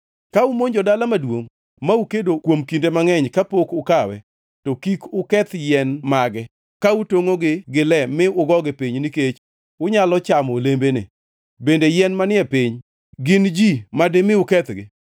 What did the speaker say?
Ka umonjo dala maduongʼ ma ukedo kuom kinde mangʼeny kapok ukawe, to kik uketh yien mage ka utongʼogi gi le mi ugogi piny nikech unyalo chamo olembene. Bende yien manie piny gin ji madimi ukethgi?